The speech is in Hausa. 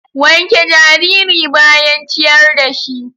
Wanke jariri bayan ciyar da shi.